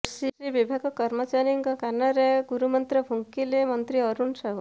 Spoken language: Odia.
କୃଷି ବିଭାଗ କର୍ମଚାରୀଙ୍କ କାନରେ ଗୁରୁମନ୍ତ୍ର ଫୁଙ୍କିଲେ ମନ୍ତ୍ରୀ ଅରୁଣ ସାହୁ